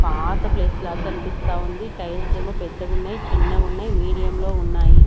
పాత ప్లేస్ లాగ్ కనిపిస్తా ఉంది టైల్స్ ఏమో పెద్దగున్నాయి చిన్నగున్నై మీడియం లో ఉన్నాయి.